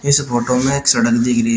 इस फोटो में एक सड़क दिख रही --